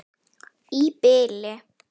Í bili.